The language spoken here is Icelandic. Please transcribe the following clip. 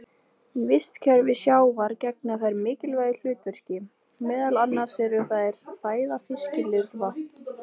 Í vistkerfi sjávar gegna þær mikilvægu hlutverki, meðal annars eru þær fæða fiskilirfa.